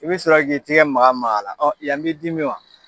I bɛ sɔrɔ k'i tigɛ maga maga a la yan b'i dimi wa.